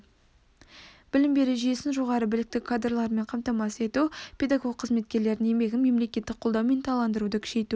білім беру жүйесін жоғары білікті кадрлармен қамтамасыз ету педагог қызметкерлердің еңбегін мемлекеттік қолдау мен ынталандыруды күшейту